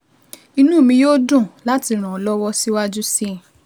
Inú mi yóò dùn láti ràn ọ́ lọ́wọ́ síwájú sí i